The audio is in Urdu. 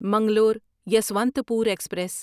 منگلور یسوانتھپور ایکسپریس